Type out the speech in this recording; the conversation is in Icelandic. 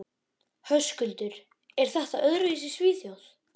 Höskuldur: Er þetta öðruvísi í Svíþjóð?